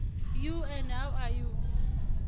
you and how are you